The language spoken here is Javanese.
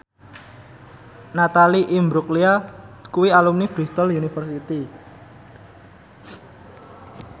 Natalie Imbruglia kuwi alumni Bristol university